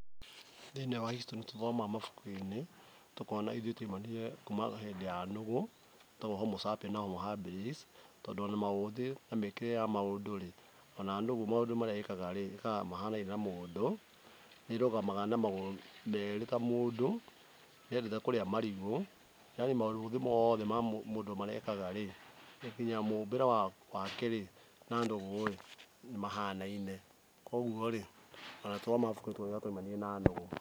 Thĩiniĩ wa History nĩtũthomaga mabuku-inĩ, tũkona ithuĩ twaumanire kuma hĩndĩ ya nũgũ, ĩtagwo Homo sapeins na Homo habilis, tondũ ona maũthĩ na mĩkĩre ya maũndũ-rĩ, ona nũgũ maũndũ marĩa ĩkaga-rĩ, ĩkaga mahanaine na mũndũ, nĩĩrũgamaga na magũrũ merĩ ta mũndũ, nĩyendete kũrĩa marigũ, [s] yaani maũthĩ mothe ma mũndũ marĩa ekaga-rĩ, kinya mũmbĩre wake-rĩ na nũgũ-ĩ nĩmahanaine, kuoguo-ĩ ona tuoya mabuku nĩtũrona twaumanire na nũgũ.